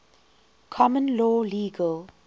common law legal